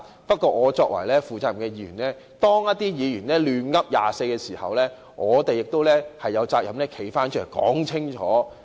不過，作為負責任的議員，當一些議員"亂噏"時，我們亦有責任站起來說清楚。